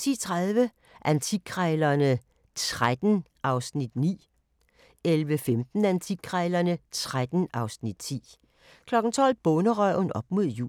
10:30: Antikkrejlerne XIII (Afs. 9) 11:15: Antikkrejlerne XIII (Afs. 10) 12:00: Bonderøven – op mod jul